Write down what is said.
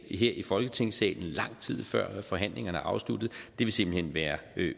i folketingssalen lang tid før forhandlingerne er afsluttet vil simpelt hen være